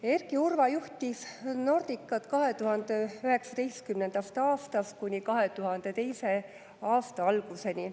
Erki Urva juhtis Nordicat 2019. aastast kuni 2022. aasta alguseni.